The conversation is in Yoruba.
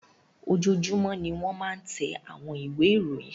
Ojoojúmọ́ ni wọ́n máa ń tẹ àwọn ìwé ìròyìn.